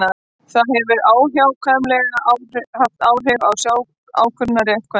það hefur óhjákvæmilega haft áhrif á sjálfsákvörðunarrétt kvenna